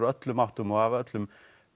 öllum áttum og af öllum